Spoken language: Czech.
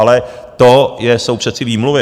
Ale to jsou přece výmluvy.